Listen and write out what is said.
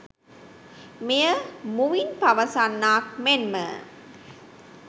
මෙය මුවින් පවසන්නාක් මෙන්ම